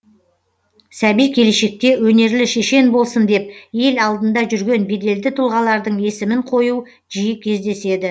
сәби келешекте өнерлі шешен болсын деп ел алдында жүрген беделді тұлғалардың есімін қою жиі кездеседі